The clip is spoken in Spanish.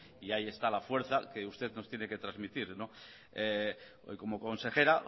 y ahí está la fuerza que usted nos tiene que transmitir hoy como consejera